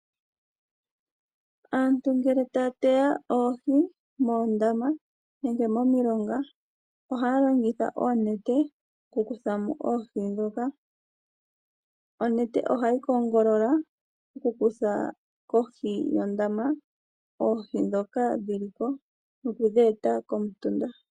Aantu ngele taya teya oohi moondama nenge momilonga ohaya longitha oonete oku kutha mo oohi ndhoka. Onete ohayi kongolola oku kutha kohi yondama oohi ndhoka dhili ko nokudhi eta komutunda.